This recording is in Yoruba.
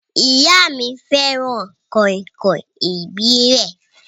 Ìyá mí fẹràn kàìnkàìn ìbílẹ̀.